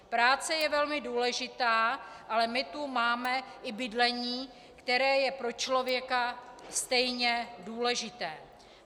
Práce je velmi důležitá, ale my tu máme i bydlení, které je pro člověka stejně důležité.